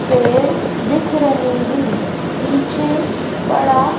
पेड़ दिख रहे हैं पीछे बड़ा--